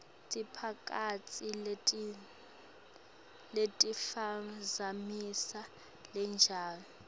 temphakatsi letiphazamisa lutjalo